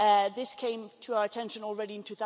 This came to our attention already in